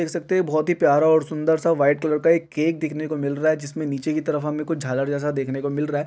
देख सकते हैं बहोत ही प्यारा और सुंदर सा व्हाइट कलर का एक केक देखने को मिल रहा हैं जिसमे नीचे की तरफ कुछ झालर जैसा देखन को मिल रहा हैं।